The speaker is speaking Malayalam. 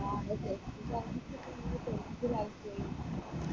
ആ കാണിച്ചിട്ട് നീ tension ആയിപോയി